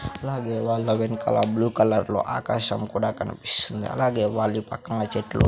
అలాగే వాళ్ళ వెన్కల బ్లూ కలర్లో ఆకాశం కూడా కనిపిస్తుంది అలాగే వాళ్ళి పక్కంగా చెట్లు--